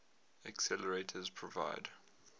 accelerators provide